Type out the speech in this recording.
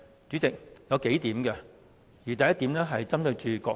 有數個原因，第一點是針對主席閣下。